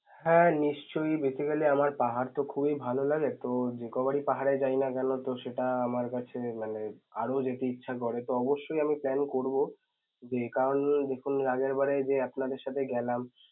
হ্যাঁ, নিশ্চয়ই. basically আমার পাহাড় তো খুবই ভালো লাগে তো যেই কয়বার পাহাড়ে যাই না কেন তো সেটা আমার কাছে মানে আরও যেতে ইচ্ছে করে. তো অবশ্যই আমি plan করবো যে করান এর আগেরবার যে আপনাদের সাথে গেলাম